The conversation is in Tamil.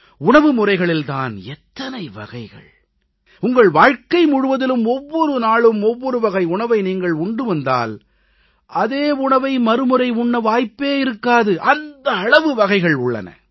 உணவு முறைகளில் தான் எத்தனை வகைகள் உங்கள் வாழ்க்கை முழுவதிலும் ஒவ்வொரு நாளும் ஒவ்வொரு வகை உணவை நீங்கள் உண்டு வந்தால் அதே உணவை மறுமுறை உண்ண வாய்ப்பே இருக்காது அந்த அளவு வகைகள் உள்ளன